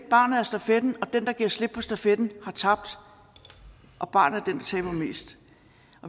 barnet er stafetten og den der giver slip på stafetten har tabt og barnet er den der taber mest